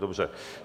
Dobře.